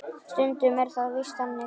Stundum er það víst þannig!